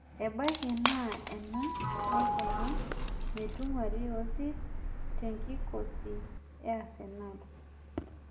Ebaiki naa ena naikuna metung'uari Ozil tenkikosi e Arsenal